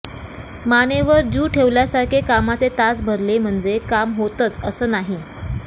मानेवर जू ठेवल्यासारखे कामाचे तास भरले म्हणजे काम होतंच असं नाही